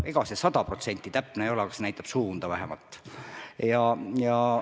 Ega see sada protsenti täpne ei ole, aga näitab vähemalt suunda.